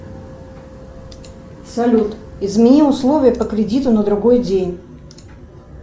салют измени условия по кредиту на другой день